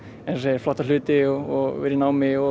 flotta hluti og vera í námi og